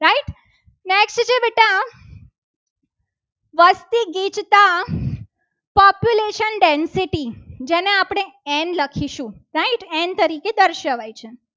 વસ્તી ગીચતા population density જેને આપણે and લખીશું. right and તરીકે દર્શાવાય છે.